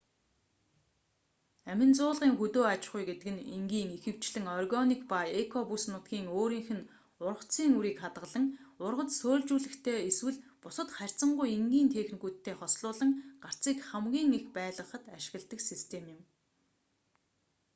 амин зуулгын хөдөө аж ахуй гэдэг нь энгийн ихэвчлэн органик ба эко бүс нутгийн өөрийнх нь ургацын үрийг хадгалан ургац сөөлжлүүлэхтэй эсвэл бусад харьцангуй энгийн техникүүдтэй хослуулан гарцыг хамгийн их байлгахад ашигладаг систем юм